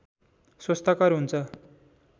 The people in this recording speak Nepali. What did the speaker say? स्वस्थकर हुन्छ